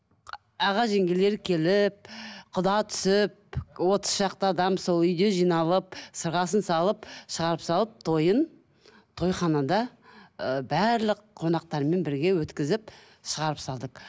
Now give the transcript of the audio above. аға жеңгелері келіп құда түсіп отыз шақты адам сол үйде жиналып сырғасын салып шығарып салып тойын тойханада ыыы барлық қонақтармен бірге өткізіп шығарып салдық